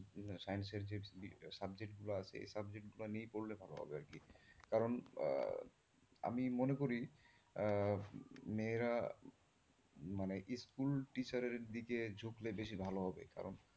Science এর যে subject গুলো আছে ওই subject গুলো নিয়ে পড়লেই ভালো হবে আরকি কারণ আমি মনে করি আহ মেয়েরা মানে school teacher এর দিকে ঝুকলে বেশি ভালো হবে কারণ,